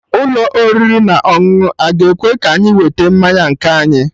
Ụlọ oriri na ọṅụṅụ aga ekwe ka anyị weta mmanya nke anyị?